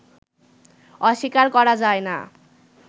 অস্বীকার করা যায় না